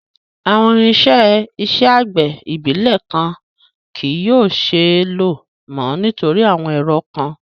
Awọn irinṣẹ iṣẹ agbẹ ibilẹ kan kii yóò ṣee lo mọ nitori awọn ẹrọ kan